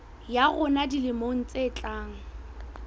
ya rona dilemong tse tlang